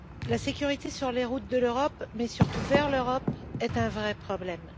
La sécurité sur les routes d'Europe, mais surtout vers l'Europe, est un vrai problème.